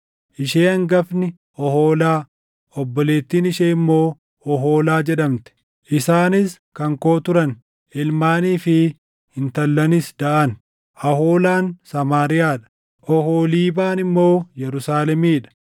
Ishee hangafni Oholaa, obboleettiin ishee immoo Oholaa jedhamte. Isaanis kan koo turan; ilmaanii fi intallanis daʼan. Aholaan Samaariyaa dha; Oholiibaan immoo Yerusaalemii dha.